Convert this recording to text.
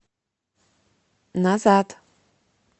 назад